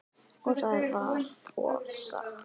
Og það er vart ofsagt.